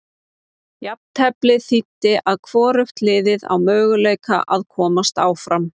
Jafnteflið þýddi að hvorugt liðið á möguleika að komast áfram.